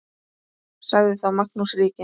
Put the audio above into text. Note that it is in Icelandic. Sagði þá Magnús ríki